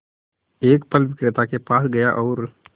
एक फल विक्रेता के पास गया और